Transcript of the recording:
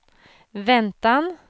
väntan